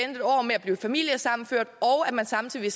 en år med at blive familiesammenført og at man samtidig